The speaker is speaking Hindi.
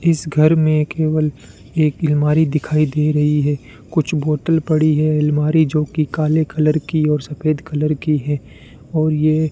इस घर में केवल एक अलमारी दिखाई दे रही है कुछ बोतल पड़ी है अलमारी जो की काले कलर की और सफेद कलर की है और ये --